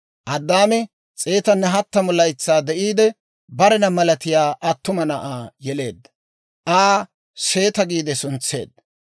Addaami 130 laytsaa de'iide, barena malatiyaa attuma na'aa yeleedda; Aa «Seeta» giide suntseedda.